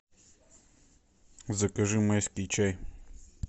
закажи майский чай